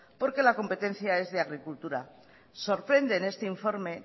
porque la competencia es de agricultura sorprende en este informe